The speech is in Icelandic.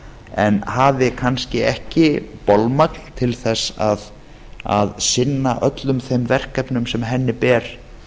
en hafi kannski ekki bolmagn til þess að sinna öllum þeim verkefnum sem henni ber